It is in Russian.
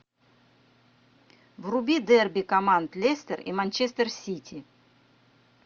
вруби дерби команд лестер и манчестер сити